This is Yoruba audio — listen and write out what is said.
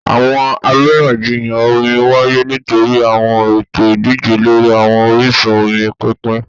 Awọn ariyanjiyan omi waye nitori awọn ẹtọ idije lori awọn orisun omi pinpin